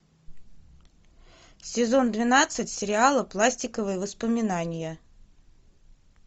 сезон двенадцать сериала пластиковые воспоминания